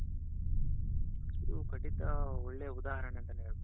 ಇದು ಖಂಡಿತ ಒಳ್ಳೆ ಉದಾಹರಣೆ ಅಂತಾನೆ ಹೇಳ್ಬೇಕು.